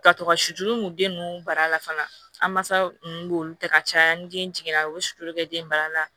Ka to ka suturu nin den ninnu bara la fana an masaw nu b'olu ta ka caya ni den jiginna u be suturu kɛ den bara la